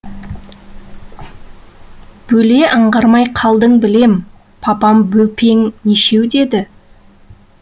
бөле аңғармай қалдың білем папам бөпең нешеу деді